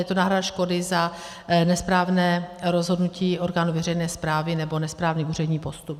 Je to náhrada škody za nesprávné rozhodnutí orgánů veřejné správy nebo nesprávný úřední postup.